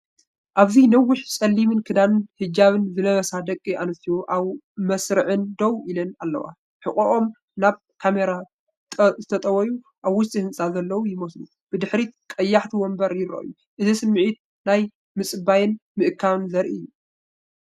ኣብዚ ነዊሕ ጸሊም ክዳንን ሂጃብን ዝለበሳ ደቂ ኣንስትዮ ኣብ መስርዕ ደው ኢለን ኣለዋ። ሕቖኦም ናብ ካሜራ ተጠውዩ፡ ኣብ ውሽጢ ህንጻ ዘለዉ ይመስሉ። ብድሕሪት ቀያሕቲ መንበር ይረኣዩ። እቲ ስምዒት ናይ ምጽባይን ምእካብን ዘርኢ እዩ።